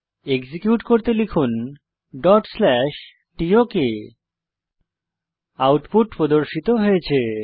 execute করতে লিখুন tok output প্রদর্শিত হয়েছে